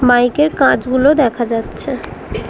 Bike -এর কাঁচ গুলো দেখা যাচ্ছে।